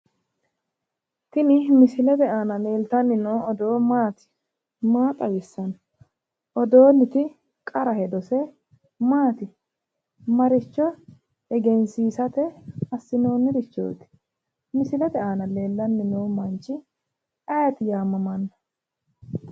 Tini misilete aana leeltanni noo odoo maati? maa xawissanno? odoonniti qara hedose maati ? maricho egensiisate assinoonnirichooti misilete aana leellanni noo manchi ayiti yaamamanno?